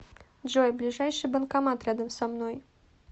джой ближайший банкомат рядом со мной